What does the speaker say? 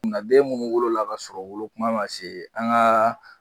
Den minnu wolola kasɔrɔ wolokuma ma se an ka